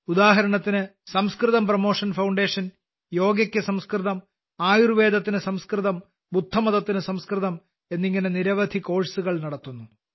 ഉദാഹരണത്തിന് സംസ്കൃതം promotion foundation യോഗയ്ക്ക് സംസ്കൃതം ആയുർവേദത്തിന് സംസ്കൃതം ബുദ്ധമതത്തിന് സംസ്കൃതം എന്നിങ്ങനെ നിരവധി കോഴ്സുകൾ നടത്തുന്നു